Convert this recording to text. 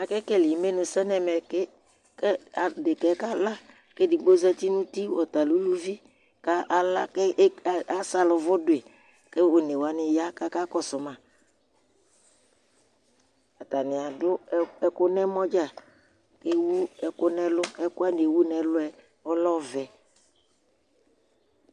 Akekele imenusɛ ŋu ɛmɛ kʋ ɖeka kala kʋ ɛɖigbo zɛti ŋu ʋti Ɔta lɛ ʋlʋvi kʋ ala kʋ asalivu ɖui kʋ ɔne waŋi ya akakɔsu ma Ataŋi aɖu ɛku ŋu ɛmɔ dza kʋ ɛwu ɛku ŋu ɛlu Ɛku waŋi ɛwu ŋu ɛlu ɔlɛ ɔvɛ